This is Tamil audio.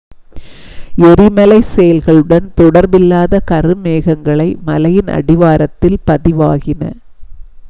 எரிமலைச் செயல்களுடன் தொடர்பில்லாத கருமேகங்கள் மலையின் அடிவாரத்தில் பதிவாகின